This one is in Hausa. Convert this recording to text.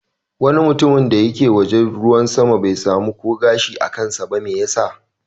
Wani mutum da ke waje da ruwan sama bai samu ko gashi a kansa ba. Me yasa?